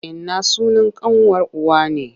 Inna sunan ƙanwar uwa ne.